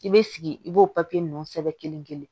I bɛ sigi i b'o papiye ninnu sɛbɛn kelen kelen